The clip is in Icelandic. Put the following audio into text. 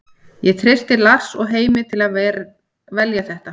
Ég treysti Lars og Heimi til að velja þetta.